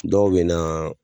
Dɔw bɛ na